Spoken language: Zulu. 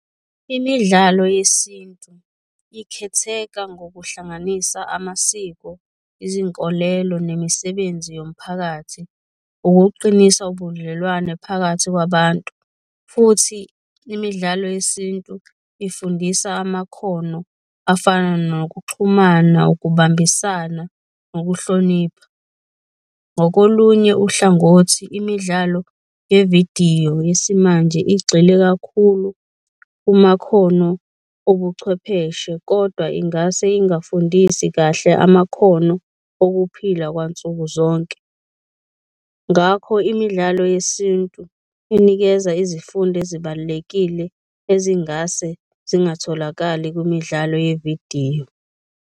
Imidlalo yesintu ikhetheka ngokuhlanganisa amasiko, izinkolelo, nemisebenzi yomphakathi, ukuqinisa ubudlelwane phakathi kwabantu futhi imidlalo yesintu ifundisa amakhono afana nokuxhumana, ukubambisana, nokuhlonipha. Ngokolunye uhlangothi, imidlalo yevidiyo yesimanje igxile kakhulu kumakhono obuchwepheshe, kodwa ingase ingafundisi kahle amakhono okuphila kwansukuzonke. Ngakho, imidlalo yesintu inikeza izifundo ezibalulekile ezingase zingatholakali kwimidlalo yevidiyo.